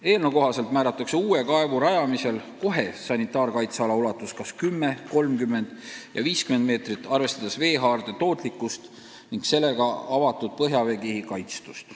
Eelnõu kohaselt määratakse uue kaevu rajamisel kohe sanitaarkaitseala ulatus kas 10, 30 või 50 meetrit, arvestades veehaarde tootlikkust ning sellega avatud põhjaveekihi kaitstust.